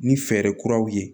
Ni fɛɛrɛ kuraw ye